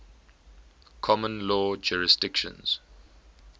common law jurisdictions